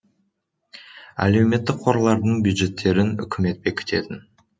әлеуметтік қорлардың бюджеттерін үкімет бекітетін